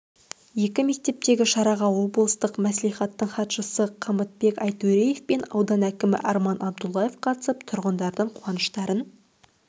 екі мектептегі шараға облыстық мәслихаттың хатшысы қамытбек айтөреев пен аудан әкімі арман абдуллаев қатысып тұрғындардың қуаныштарын